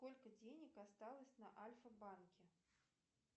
сколько денег осталось на альфа банке